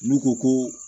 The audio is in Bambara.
N'u ko ko